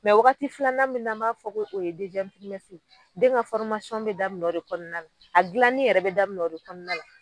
wagati filanan min n'a b'a fɔ ko o ye , den ka be daminɛ o de kɔnɔna na, a jilani yɛrɛ be daminɛ o de kɔnɔna la.